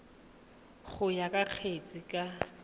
go ya ka kgetse ka